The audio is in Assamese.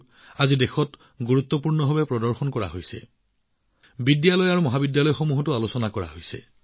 আৰু আজি এই খবৰবোৰ দেশত বিশিষ্টভাৱে দেখুওৱা হৈছে বিদ্যালয়মহাবিদ্যালয়ত কোৱা হৈছে আৰু আলোচনা কৰা হৈছে